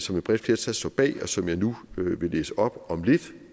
som et bredt flertal står bag og som jeg nu vil læse op om lidt